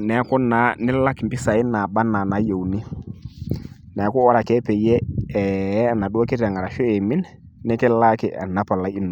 neaku naa nilak impisai nabaa anaa inaayiouni, neaku ore ake peyie ee enaduo kiteng' ashu pee eimin, nikilaaki enaduo palai ino.